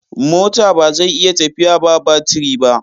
mota bazai iya tafiya ba batire ba